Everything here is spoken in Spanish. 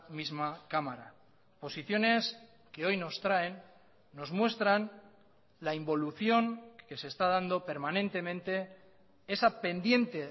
misma cámara posiciones que hoy nos traen nos muestran la involución que se está dando permanentemente esa pendiente